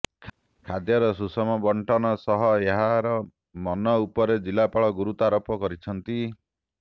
ଖାଦ୍ୟର ସୁଷମ ବଣ୍ଟନ ସହ ଏହାର ମନ ଉପରେ ଜିଲ୍ଲାପାଳ ଗୁରୁତ୍ୱାରୋପ କରିଛନ୍ତି